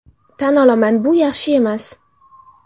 Tan olaman, bu yaxshi emas.